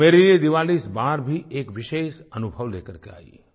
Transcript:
मेरे लिए दिवाली इस बार भी एक विशेष अनुभव लेकर के आयी